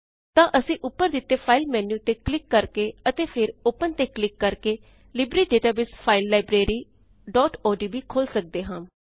ਤਾਂ ਅਸੀਂ ਉਪਰ ਦਿੱਤੇ ਫਾਈਲ ਮੇਨ੍ਯੂ ਤੇ ਕਲਿਕ ਕਰਕੇ ਅਤੇ ਫਿਰ ਓਪਨ ਤੇ ਕਲਿਕ ਕਰਕੇ ਲਿਬਰੇ ਡੇਟਾਬੇਸ ਫਾਇਲ libraryਓਡੀਬੀ ਖੋਲ ਸਕਦੇ ਹਾਂ